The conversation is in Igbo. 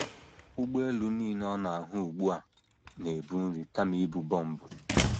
Ụgbọelu nile ọ na - ahụ ugbu a na - ebu nri kama ibu bọmbụ.